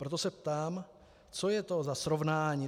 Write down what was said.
Proto se ptám, co je to za srovnání?